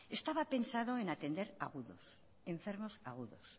estaba pensado en atender enfermo agudos